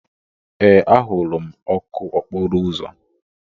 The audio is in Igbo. Ee, ahụrụ m ọkụ okporo ụzọ.